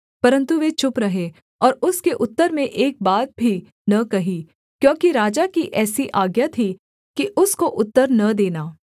परन्तु वे चुप रहे और उसके उत्तर में एक बात भी न कही क्योंकि राजा की ऐसी आज्ञा थी कि उसको उत्तर न देना